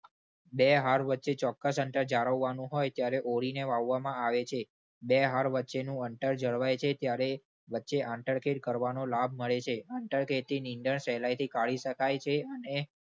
બે હાર વચ્ચે ચોક્કસ અંતર જાળવવાનું હોય ત્યારે ઓળીને વાવવામાં આવે છે. બે હાર વચ્ચેનું અંતર જળવાય છે ત્યારે વચ્ચે આંતરખેદ કરવાનો લાભ મળે છે. આંતરખેદથી નીંદણ સહેલાઈથી કાઢી શકાય છે અને